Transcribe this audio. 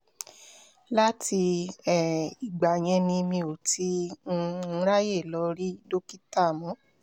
láti um ìgbà yẹn ni mi ò ti um ráyè lọ rí dókítà mọ́